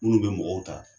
Minnu bɛ mɔgɔw ta